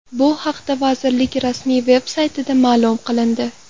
Bu haqda vazirlik rasmiy veb-saytida ma’lum qilindi.